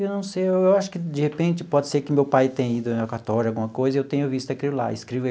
Eu não sei, eu acho que, de repente, pode ser que meu pai tenha ido ao cartório, alguma coisa, e eu tenha visto aquilo lá.